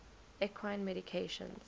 equine medications